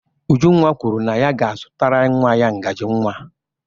Ujunwa kwuru na ya ga-azụtara nwa ya ngaji nwa.